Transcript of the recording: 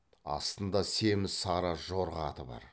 астында семіз сары жорға аты бар